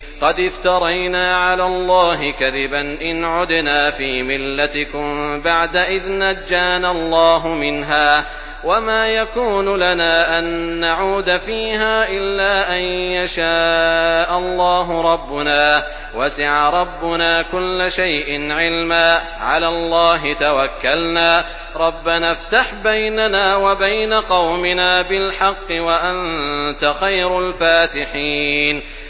قَدِ افْتَرَيْنَا عَلَى اللَّهِ كَذِبًا إِنْ عُدْنَا فِي مِلَّتِكُم بَعْدَ إِذْ نَجَّانَا اللَّهُ مِنْهَا ۚ وَمَا يَكُونُ لَنَا أَن نَّعُودَ فِيهَا إِلَّا أَن يَشَاءَ اللَّهُ رَبُّنَا ۚ وَسِعَ رَبُّنَا كُلَّ شَيْءٍ عِلْمًا ۚ عَلَى اللَّهِ تَوَكَّلْنَا ۚ رَبَّنَا افْتَحْ بَيْنَنَا وَبَيْنَ قَوْمِنَا بِالْحَقِّ وَأَنتَ خَيْرُ الْفَاتِحِينَ